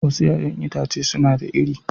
Wasu 'ya'yan itace suna da iri